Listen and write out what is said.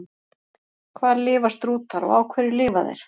Hvar lifa strútar og á hverju lifa þeir?